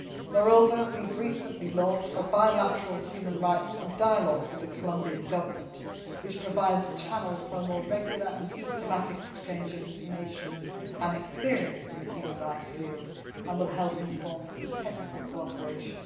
Moreover, we have recently launched a bilateral human rights dialogue with the Colombian Government which provides a channel for a more regular and systematic exchange of information and experience in the human rights field, and will help inform technical cooperation.